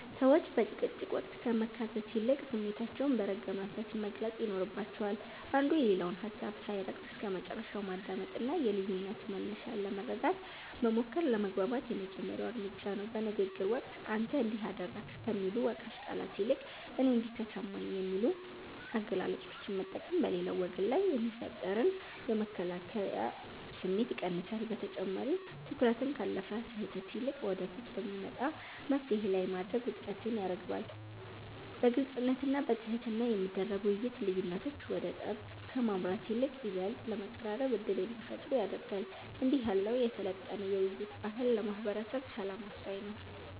ሰዎች በጭቅጭቅ ወቅት ከመካሰስ ይልቅ ስሜታቸውን በረጋ መንፈስ መግለጽ ይኖርባቸዋል። አንዱ የሌላውን ሀሳብ ሳይረግጥ እስከመጨረሻው ማዳመጥና የልዩነቱን መነሻ ለመረዳት መሞከር ለመግባባት የመጀመሪያው እርምጃ ነው። በንግግር ወቅት "አንተ እንዲህ አደረግክ" ከሚሉ ወቃሽ ቃላት ይልቅ "እኔ እንዲህ ተሰማኝ" የሚሉ አገላለጾችን መጠቀም በሌላው ወገን ላይ የሚፈጠርን የመከላከያ ስሜት ይቀንሳል። በተጨማሪም፣ ትኩረትን ካለፈ ስህተት ይልቅ ወደፊት በሚመጣ መፍትሔ ላይ ማድረግ ውጥረትን ያረግባል። በግልጽነትና በትህትና የሚደረግ ውይይት፣ ልዩነቶች ወደ ጠብ ከማምራት ይልቅ ይበልጥ ለመቀራረብ ዕድል እንዲፈጥሩ ያደርጋል። እንዲህ ያለው የሰለጠነ የውይይት ባህል ለማህበረሰብ ሰላም ወሳኝ ነው።